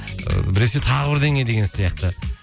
ыыы біресе тағы бірдеңе деген сияқты